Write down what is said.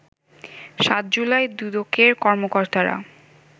৭ জুলাই দুদকের কর্মকর্তারা